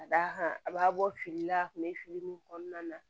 Ka d'a kan a b'a bɔ fili la a tun bɛ fili min kɔnɔna na